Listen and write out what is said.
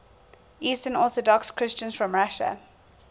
eastern orthodox christians from russia